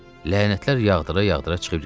Lənətlər yağdıra-yağdıra çıxıb getdi.